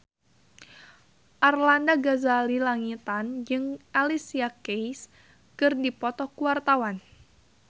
Arlanda Ghazali Langitan jeung Alicia Keys keur dipoto ku wartawan